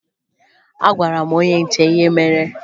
Agwara m onye nche ihe mere